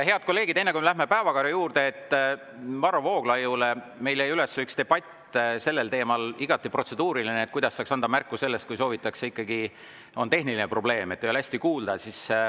Head kolleegid, enne kui me läheme päevakorra juurde, ütlen Varro Vooglaiule, et meil jäi üles üks igati protseduuriline debatt sellel teemal, kuidas saaks anda märku, et on tehniline probleem, et ei ole hästi kuulda.